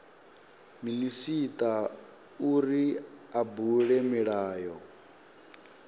minisita uri a bule milayo